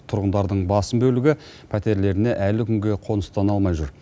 тұрғындардың басым бөлігі пәтерлеріне әлі күнге қоныстана алмай жүр